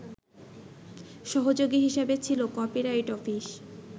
সহযোগী হিসেবে ছিল কপিরাইট অফিস